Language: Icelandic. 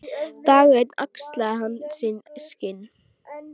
Dag einn axlaði hann sín skinn.